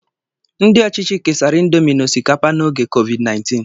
Ndị ọchịchị kesara índomi na osikapa n'ógè COVID-19